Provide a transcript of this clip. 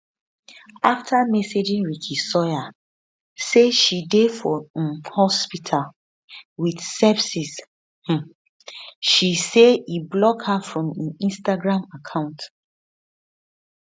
afta messaging ricky sawyer say she dey for um hospital wit sepsis um she say e block her from im instagram account